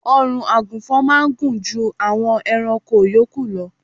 Ọrùn àgùnfọn máá ń gùn ju àwọn ẹranko yòókù lọ